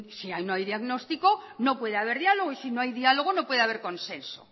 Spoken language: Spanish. si ahí no hay diagnóstico no puede haber diálogo y si no hay diálogo no puede haber consenso